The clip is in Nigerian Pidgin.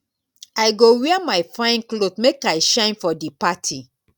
i go wear my fine cloth make i shine for di party.